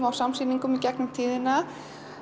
á samsýningum í gegnum tíðina